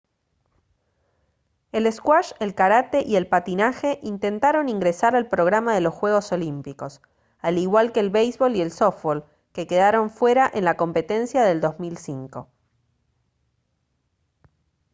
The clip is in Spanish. el squash el karate y el patinaje intentaron ingresar al programa de los juegos olímpicos al igual que el béisbol y el softbol que quedaron fuera en la competencia del 2005